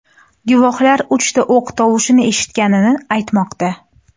Guvohlar uchta o‘q tovushini eshitganini aytmoqda.